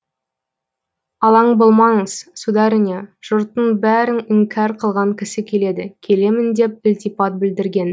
алаң болмаңыз сударыня жұрттың бәрін іңкәр қылған кісі келеді келемін деп ілтипат білдірген